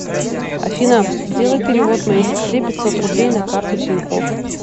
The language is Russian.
афина сделай перевод моей сестре пятьсот рублей на карту тинькофф